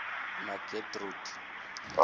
nagetrude